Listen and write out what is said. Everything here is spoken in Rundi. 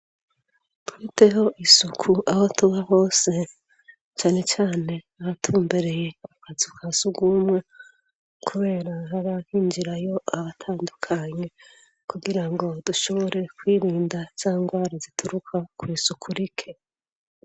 Twiteho isuku abo tuba hose cane cane abatumbereye akazu ka sugumwe kubera harinjirayo abatandukanye kugira ngo dushobore kwirinda zangwara zituruka kw'isuku rike.